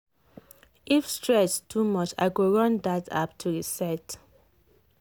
if stress too much i go run that app to reset.